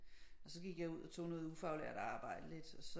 Og så gik jeg ud og tog noget ufaglært arbejde lidt